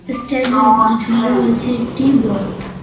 Stand -এর উপরে ঝুলানো রয়েছে একটি বোর্ড ।